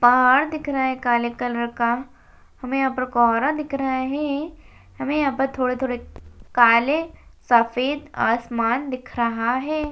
पहाड़ दिख रहा है काले कलर का हमें यहां पर कोहरा दिख रहा है हमें यहां पर थोड़े-थोड़े काले सफेद आसमान दिख रहा है।